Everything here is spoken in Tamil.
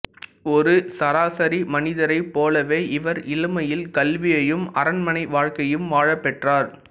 ஓா் சராசாி மனி்தரைப் பாேலவே இவா் இளமையில் கல்வியையும் அரண்மனை வாழ்க்கையையும் வாழப் பெற்றாா்